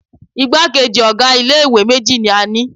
Igbákejì ọ̀ga ilé ìwé méjì ní a ni.